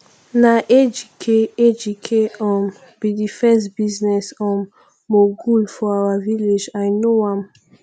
na ejike ejike um be the first business um mogul for our village i know am